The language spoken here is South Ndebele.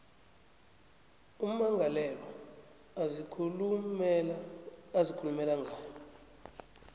ummangalelwa azikhulumela ngayo